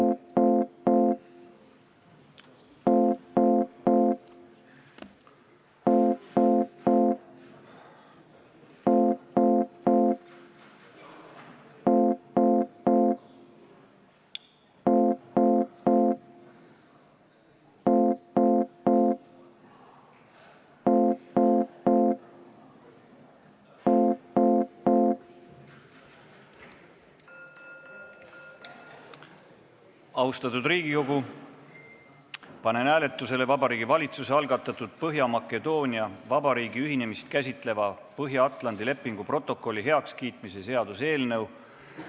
Austatud Riigikogu, panen hääletusele Vabariigi Valitsuse algatatud Põhja-Makedoonia Vabariigi ühinemist käsitleva Põhja-Atlandi lepingu protokolli heakskiitmise seaduse eelnõu.